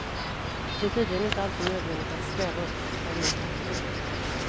Det är tydligen inte alltid nödvändigt att sträva uppåt för att nå toppen.